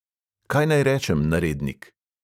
"Kaj naj rečem, narednik?"